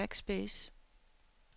backspace